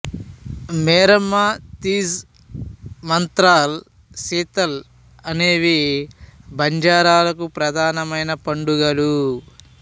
మేరమ్మ తీజ్ మంత్రల్ సీత్ల అనేవి బంజారాలకు ప్రధానమైన పండుగలు